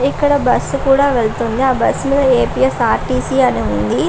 ఇక్కడ బస్సు కూడా వెళ్తుంది. ఆ బస్సు లో A. P. S. R. T. C అని ఉంది.